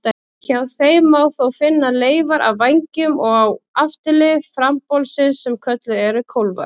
Hjá þeim má þó finna leifar af vængjum á afturlið frambolsins sem kölluð eru kólfar.